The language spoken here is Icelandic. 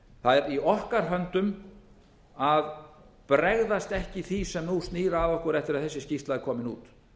er í okkar höndum að bregðast ekki því sem nú snýr að okkur eftir að þessi skýrsla er komin út